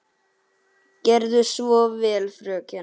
Gerðu svo vel, fröken!